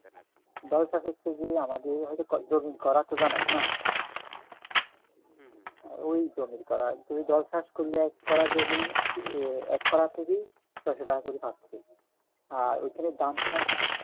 দলসা হচ্ছে যে আমাদের জমিন করা তো জানেন না ঐ জমিন করা তো ঐ দল চাষ করলে করা জমি এক করা থেকেই ছয়শ টাকা করে পাচ্ছি আর ঐখানে ধান চাষ